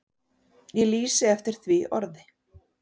Ég lýsi eftir því orði.